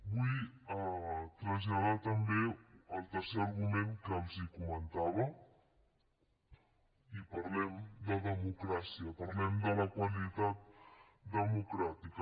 vull traslladar també el tercer argument que els comentava i parlem de democràcia parlem de la qualitat democràtica